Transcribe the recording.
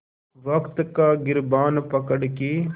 वक़्त का गिरबान पकड़ के